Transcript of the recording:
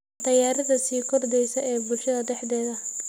Cunto yarida sii kordheysa ee bulshada dhexdeeda.